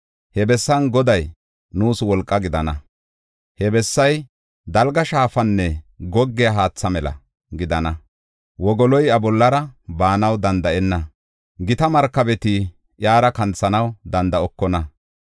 He bessan Goday nuus wolqaa gidana. He bessay dalga safanne goggiya haatha mela gidana. Wogoloy iya bollara baanaw danda7enna; gita markabeti yaara kanthanaw danda7okona.